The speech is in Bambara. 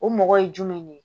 O mɔgɔ ye jumɛn ne ye